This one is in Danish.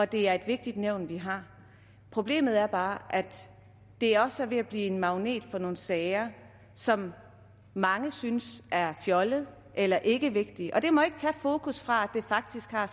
det er et vigtigt nævn vi har problemet er bare at det også er ved at blive en magnet for nogle sager som mange synes er fjollede eller ikke er vigtige og det må ikke tage fokus fra at det faktisk har